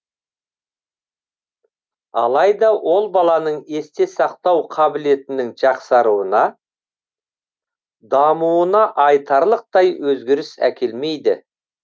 алайда ол баланың есте сақтау қабілетінің жақсаруына дамуына айтарлықтай өзгеріс әкелмейді